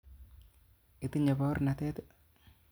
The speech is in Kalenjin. Itinye baornatet?